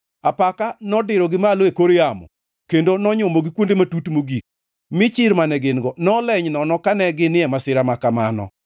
Apaka nodirogi malo e kor yamo, kendo nonyumogi kuonde matut mogik; mi chir mane gin-go noleny nono kane ginie masira ma kamano.